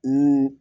Ni